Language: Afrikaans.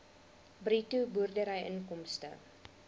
bruto boerdery inkomste